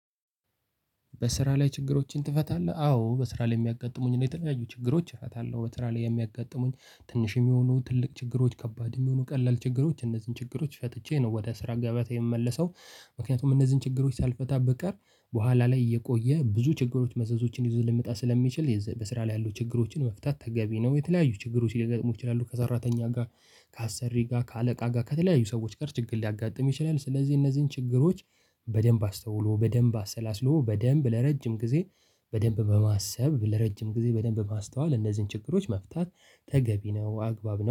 በስራ ላይ ችግሮችን ትፈታለህ? አዎ በስራ ላይ የሚያጋጥሙኝ ነው የተለያዩ ችግሮች እፈታለሁ። በስራ ላይ የሚያጋጥሙኝ ትንሽ የሚሆኑ ትልቅ ችግሮች ከባድ የሚሆኑ ቀላል ችግሮች እነዚህን ችግሮች ፈጥቼ ነው ወደ ስራ ገበያታ የምመለሰው። ምክንያቱም እነዚህን ችግሮች ሳልፈታ ብቀር በኋላ ላይ እየቆየ ብዙ ችግሮች መዘዞችን ይዞ ሊመጣ ስለሚችል በስራ ላይ ያሉ ችግሮችን መፍታት ተገቢ ነው። የተለያዩ ችግሮች ሊገጥሙ ይችላሉ ከሰራተኛ ጋር ከአሰሪ ጋር ከአለቃ ጋር ከተለያዩ ሰዎች ጋር ችግር ሊያጋጥም ይችላል። ስለዚህ እነዚህን ችግሮች በደንብ አስተውሎ በደንብ አሰላስሎ በደንብ ለረጅም ጊዜ በደንብ በማሰብ ለረጅም ጊዜ በደንብ ማስተዋል እነዚህን ችግሮች መፍታት ተገቢ ነው። አግባብ ነው